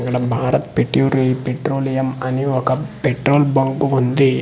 ఇక్కడ భారత్ పెట్యూరి పెట్రోలియం అని ఒక పెట్రోల్ బంక్ వుంది .]